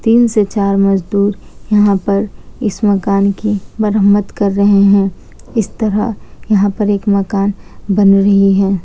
तीन से चार मजदूर यहाँ पर इस मकान कि मरम्मत कर रहे हैं इस तरह यहाँ पर एक मकान बन रही है ।